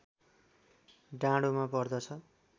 डाँडोमा पर्दछ